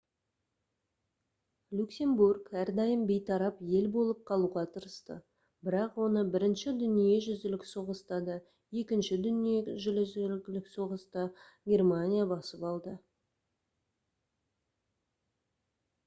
люксембург әрдайым бейтарап ел болып қалуға тырысты бірақ оны бірінші дүниежүзілік соғыста да екінші дүниежүзілік соғысда германия басып алды